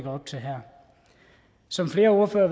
op til her som flere ordførere